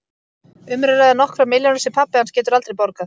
Um er að ræða nokkrar milljónir sem pabbi hans getur aldrei borgað.